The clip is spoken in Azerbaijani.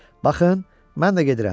Baxın, mən də gedirəm!